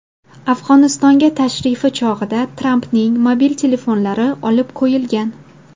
Afg‘onistonga tashrifi chog‘ida Trampning mobil telefonlari olib qo‘yilgan.